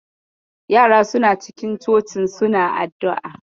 Yaran suna cikin cocin suna addu'a.